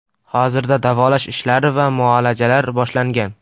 Hozirda davolash ishlari va muolajalar boshlangan.